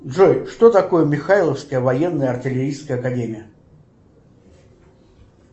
джой что такое михайловская военная артиллерийская академия